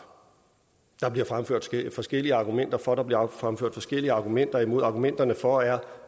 der bliver fremført forskellige argumenter for der bliver fremført forskellige argumenter imod argumenterne for er